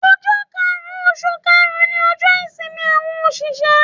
Ojọ́ karùn-ún oṣù karùn-ún ni ọjọ́ ìsinmi àwọn òṣìṣẹ́.